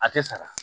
A tɛ saga